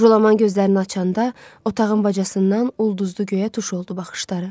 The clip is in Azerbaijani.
Jolaman gözlərini açanda otağın bacasından ulduzlu göyə tuş oldu baxışları.